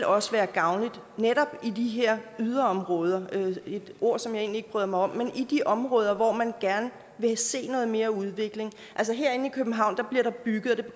også være gavnligt i de her yderområder et ord som jeg egentlig ikke bryder mig om men i de områder hvor man gerne vil se noget mere udvikling altså herinde i københavn bliver der bygget og det